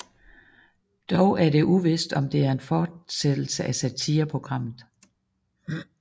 Dog er det uvist om det er en fortsættelse af satireprogrammet